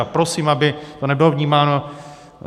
A prosím, aby to nebylo vnímáno...